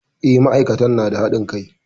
E, ma'aikatan na da haɗin kai.